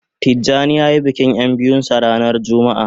Tijani ya yi bikin ya biyun sa ranan jumma'a